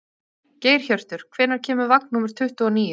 Geirhjörtur, hvenær kemur vagn númer tuttugu og níu?